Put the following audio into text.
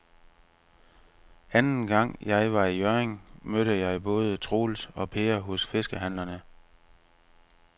Anden gang jeg var i Hjørring, mødte jeg både Troels og Per hos fiskehandlerne.